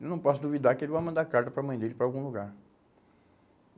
Eu não posso duvidar que ele vai mandar carta para a mãe dele para algum lugar.